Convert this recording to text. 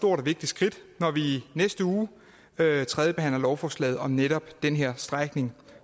og vigtigt skridt når vi i næste uge tredjebehandler lovforslaget om netop den her strækning